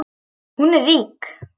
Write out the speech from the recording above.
Hún er rík.